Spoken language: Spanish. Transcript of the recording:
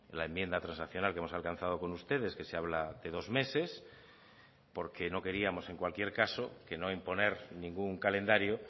la enmienda transaccional que hemos alcanzado con ustedes que se habla de dos meses porque no queríamos en cualquier caso que no imponer ningún calendario